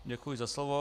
Děkuji za slovo.